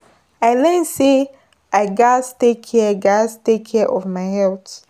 I learn say I gatz take care gatz take care of my health.